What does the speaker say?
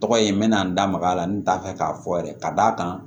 Tɔgɔ ye n bɛ na n da maga a la n t'a fɛ k'a fɔ yɛrɛ ka d'a kan